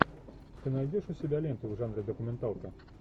ты найдешь у себя ленту в жанре документалки